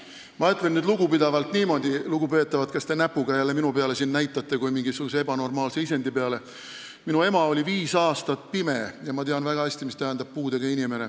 Ma ütlen lugupidavalt niimoodi, lugupeetavad, kes te jälle siin minu peale kui mingisuguse ebanormaalse isendi peale näpuga näitate, et minu ema oli viis aastat pime ja ma tean väga hästi, mida tähendab puudega inimene.